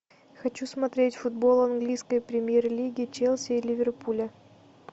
хочу смотреть футбол английской премьер лиги челси и ливерпуля